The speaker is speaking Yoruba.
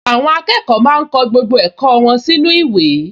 Àwọn akẹ́kọ̀ọ máa ń kọ gbogbo ẹ̀kọ́ wọn sínú ìwé